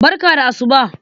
Barka da asuba.